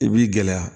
I b'i gɛlɛya